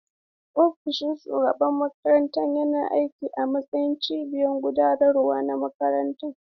Ofishin shugaban makaranta yana aiki a matsayin cibiyar gudanarwa na makarantar.